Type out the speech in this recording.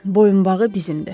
Boyunbağı bizimdir.